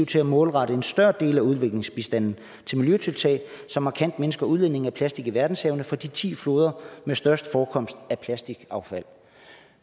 til at målrette en større del af udviklingsbistanden til miljøtiltag som markant mindsker udledningen af plastik til verdenshavene fra de ti floder med størst forekomst af plastikaffald